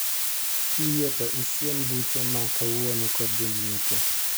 Kiyie to isiem buche ma kawuono kod jong'iepo.